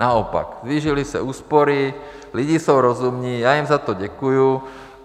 Naopak, zvýšily se úspory, lidi jsou rozumní, já jim za to děkuji.